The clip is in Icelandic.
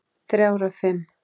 Þrjár af fimm.